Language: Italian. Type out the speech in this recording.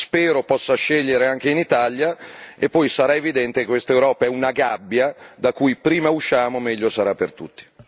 Spero possa scegliere anche in Italia, e poi sarà evidente che questa Europa è una gabbia da cui prima usciamo, meglio sarà per tutti.